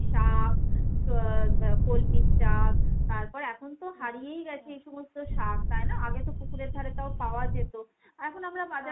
শাক কলমি শাক। তারপর এখন তো হারিয়েই গেছে এই সমস্ত শাক তাই না ? আগে তো পুকুরের ধারে তাও পাওয়া যেত। এখন আমরা বাজার থেকে .